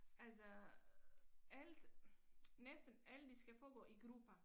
Altså alt næsten alt det skal foregå i grupper